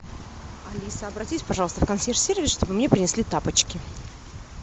алиса обратись пожалуйста в консьерж сервис чтобы мне принесли тапочки